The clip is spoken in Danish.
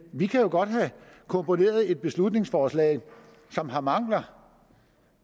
vi kan jo godt have komponeret et beslutningsforslag som har mangler